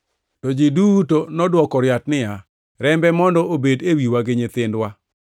To ji duto nodwoko riat niya, “Rembe mondo obed e wiwa gi nyithindwa!”